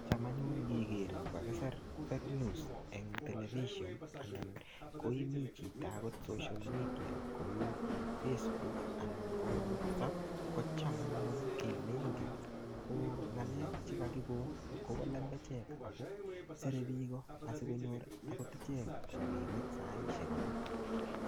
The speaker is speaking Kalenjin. Cham anyun ngiker kokaisir fake news eng television anan koimii chito agot social media, kou facebook ana ko whatsapp, kocham anyun kiy neingen ko ng'alek che kakikon kobo lembechek. Ako sire biiko asikonyor agot ichek rabinik saishek alak.